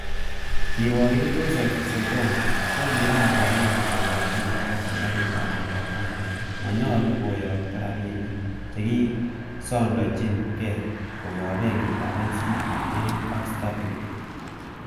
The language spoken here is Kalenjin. Kiruokindet Josep sergon ko kiran konaam kokochi ngatet serkalitab Salva kiir kole monyolu koyokto rabinik chekisondonyin gee, koyob benkitab NCBA ak Stanbic.